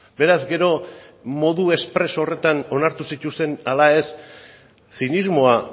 beraz gero modu espreso horretan onartu zituzten ala ez zinismoa